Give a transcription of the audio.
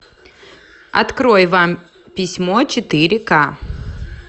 открой вам письмо четыре ка